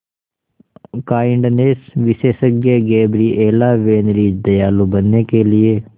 kindness विशेषज्ञ Gabriela Van Rij दयालु बनने के लिए